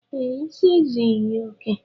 Ee, isi ezughi ya oke